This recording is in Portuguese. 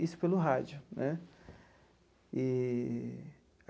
Isso pelo rádio, né? Eee.